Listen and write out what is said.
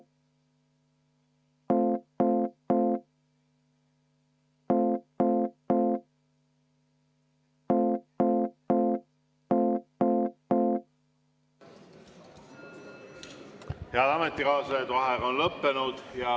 Head ametikaaslased, vaheaeg on lõppenud.